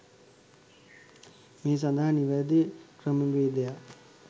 මේ සඳහා නිවැරැදි ක්‍රමවේදයක්